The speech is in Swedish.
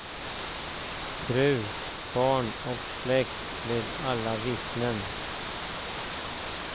Fru, barn och släkt blir alla vittnen.